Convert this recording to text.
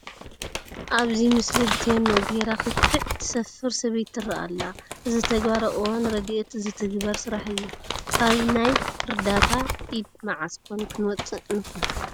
ኣብዚ ምስሊ ብቴኖ ገይራ ክክዕ ትሰፍር ሰበይቲ ትርአ ኣላ፡፡ እዚ ተግባር ኣብ እዋን ረድኤት ዝትግበር ስራሕ እዩ፡፡ ካብ ናይ ርዳእታ ኢድ መዓዝ ኮን ክንወፅእ ንኾን?